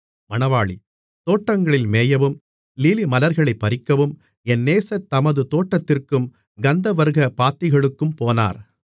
தோட்டங்களில் மேயவும் லீலிமலர்களைப் பறிக்கவும் என் நேசர் தமது தோட்டத்திற்கும் கந்தவர்க்கப் பாத்திகளுக்கும் போனார்